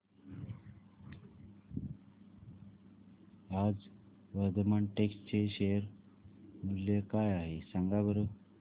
आज वर्धमान टेक्स्ट चे शेअर मूल्य काय आहे सांगा बरं